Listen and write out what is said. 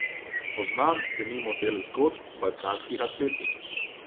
Poznam denimo del zgodb balkanskih atletinj.